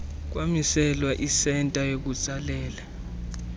kwamiselwa isenta yokutsalela